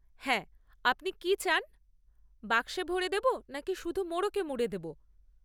হ্যাঁ, আপনি কী চান, বাক্সে ভরে দেব নাকি শুধু মোড়কে মুড়ে দেব?